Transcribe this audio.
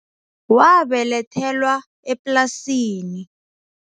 Wabelethelwa eplasini.